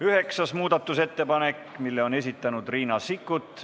Üheksas muudatusettepanek, mille on esitanud Riina Sikkut.